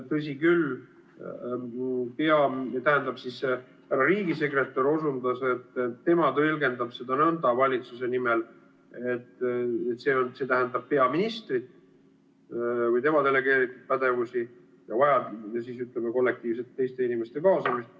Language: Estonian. Tõsi küll, härra riigisekretär osundas, et tema tõlgendab valitsuse nimel nõnda, et see tähendab peaministrit, et tema delegeerib pädevusi, ja vajaduse korral kollektiivset teiste inimeste kaasamist.